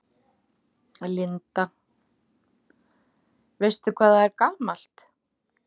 Linda: Veistu hvað það er gamalt?